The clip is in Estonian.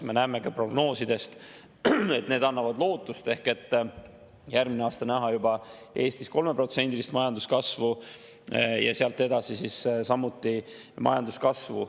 Me näeme ka prognoosidest, mis annavad lootust, et ehk järgmine aasta on Eestis näha juba 3%-list majanduskasvu ja sealt edasi samuti majanduskasvu.